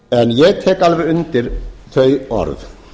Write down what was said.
ég tek alveg undir þau orð